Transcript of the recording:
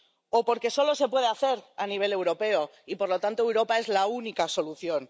o porque solo se puede hacer a nivel europeo y, por lo tanto, Europa es la única solución.